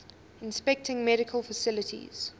inspecting medical facilities